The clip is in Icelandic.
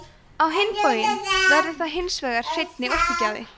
á hinn bóginn verður það hins vegar hreinni orkugjafi